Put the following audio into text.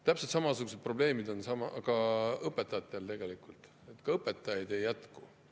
Täpselt samasugused probleemid on õpetajatega, ka õpetajaid ei jätku.